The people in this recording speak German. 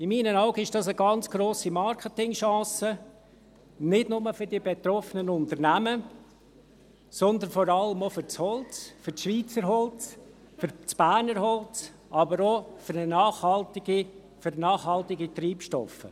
In meinen Augen ist dies eine ganz grosse Marketing-Chance, nicht nur für die betroffenen Unternehmen, sondern vor allem auch für das Holz, für das Schweizer Holz, für das Berner Holz, aber auch für nachhaltige Treibstoffe.